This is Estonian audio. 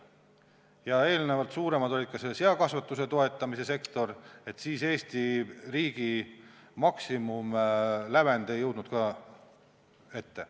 Kui eelnevalt oli suurem seakasvatuse toetamine, siis Eesti riigi maksimumlävend ei jõudnud ka sinnani.